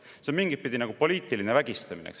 " See on mingit pidi nagu poliitiline vägistamine.